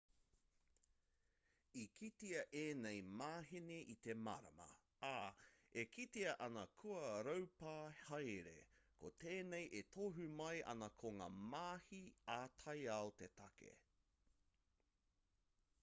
i kitea ēnei māheni i te marama ā e kitea ana kua raupā haere ko tēnei e tohu mai ana ko ngā mahi ā-taiao te take